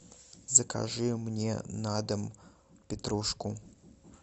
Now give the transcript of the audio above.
закажи мне на дом петрушку